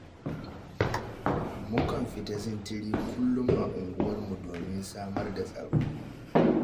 Mukan fita sintiri kullum a unguwarmu, domin samar da tsaro